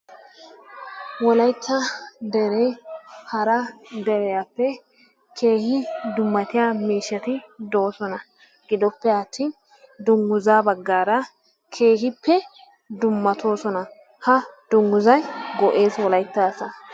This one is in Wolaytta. Wolaytta deree hara deriyaappe keehin dummatiyaa miishati doosona. Giddoppeattin dunguzzaa baggaara keehippe dummatoosona. Ha dungguzzay go"ees wolaytta asaa.